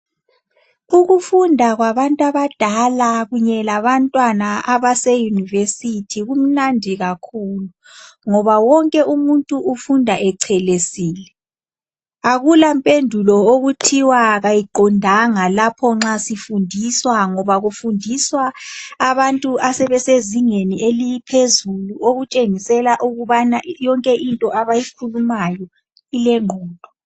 Ukufunda kwabantw' abadala kunye labantwana abase University kumnandi kakhulu ngoba wonke umuntu ufunda echelesile. Akula mpendulo okuthiwa kayiqondanga lapho nxa sifundiswa ngoba kufundiswa abantu asebesezingeni eliphezulu okutshengisela ukubana yonke into abayikhulimayo ilengqondo.